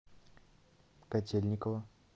котельниково